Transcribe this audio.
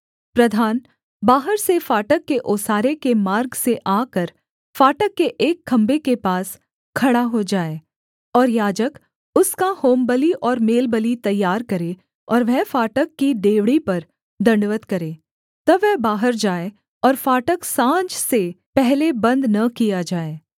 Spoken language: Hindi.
प्रधान बाहर से फाटक के ओसारे के मार्ग से आकर फाटक के एक खम्भे के पास खड़ा हो जाए और याजक उसका होमबलि और मेलबलि तैयार करें और वह फाटक की डेवढ़ी पर दण्डवत् करे तब वह बाहर जाए और फाटक साँझ से पहले बन्द न किया जाए